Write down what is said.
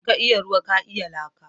In ka iya ruwa ka iya laka?